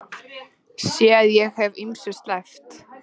Sé að ég hef ýmsu sleppt.